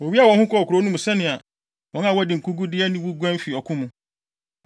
Wowiaa wɔn ho kɔɔ kurow no mu sɛnea wɔn a wɔadi nkogu de aniwu guan fi ɔko mu.